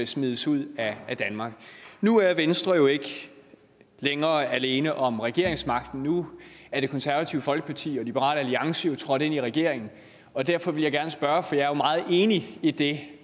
smides ud af danmark nu er venstre jo ikke længere alene om regeringsmagten nu er det konservative folkeparti og liberal alliance trådt ind i regeringen derfor vil jeg gerne spørge for jeg er jo meget enig i det